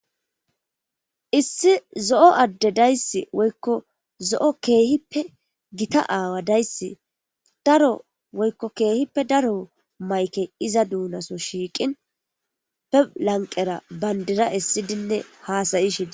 issi zo7o adde dayssi woykko zo7o keehippe gita aawa dayssi daro woykko keehippe daro mayke iza duunaso shiiqin be lanqera bandira issidinne haasayishini